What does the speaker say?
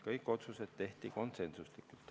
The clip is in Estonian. Kõik otsused tehti konsensuslikult.